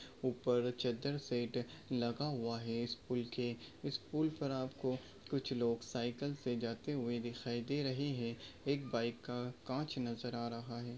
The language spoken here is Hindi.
उपर चद्दर से लगा हुआ है इस पुल के इस पुल पर आपको कुछ लोग साइकल से जाते हुए दिखाई दे रहे है एक बाइक का काँच नजर आ रहा है।